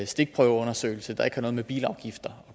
stikprøveundersøgelse der ikke har noget med bilafgifter